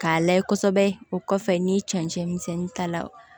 K'a layɛ kosɛbɛ o kɔfɛ ni cɛncɛn misɛnnin ta la